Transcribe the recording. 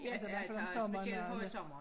Ja altså specielt højsommer